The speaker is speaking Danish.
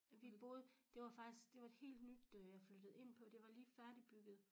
Vi boede det var faktisk det var et helt nyt øh jeg flyttede ind på det var lige færdigbygget